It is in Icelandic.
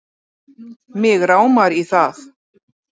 Mig rámar í það